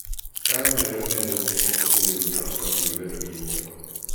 ka imedo nengo gik moko kinde duto to ok ibi bedo gi jonyiepo